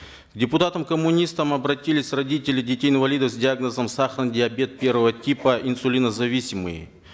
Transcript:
к депутатам коммунистам обратились родители детей инвалидов с диагнозом сахарный диабет первого типа инсулинозависимый